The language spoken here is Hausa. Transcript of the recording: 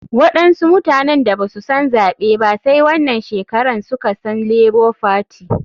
Waɗansu mutanen da basu san zaɓe ba sai wanan shekaran suka san lebo fati.